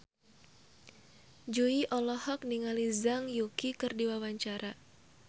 Jui olohok ningali Zhang Yuqi keur diwawancara